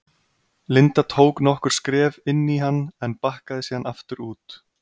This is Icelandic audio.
Linda tók nokkur skref inn í hann en bakkaði síðan aftur út.